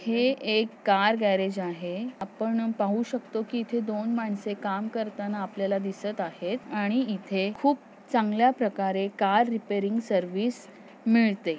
हे एक car garage आहे आपण पाहू शकतो कि इथे दोन मानसे काम करताना आपल्याला दिसत आहेत आणि इथे खूप चांगल्या प्रकारे कार रेपरिंग सर्विस मिळते.